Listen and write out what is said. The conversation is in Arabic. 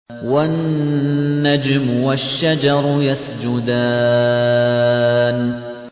وَالنَّجْمُ وَالشَّجَرُ يَسْجُدَانِ